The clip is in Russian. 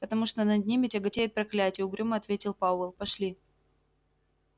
потому что над ними тяготеет проклятие угрюмо ответил пауэлл пошли